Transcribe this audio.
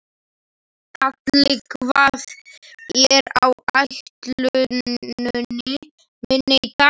Karli, hvað er á áætluninni minni í dag?